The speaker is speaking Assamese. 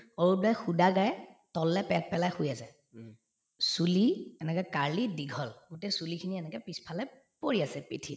অৰূপ দায়ে সুদা গায়ে তললে পেট পেলাই শুই আছে চুলি এনেক curly দীঘল গোটেই চুলিখিনি এনেকে পিছফালে পৰি আছে পিঠিত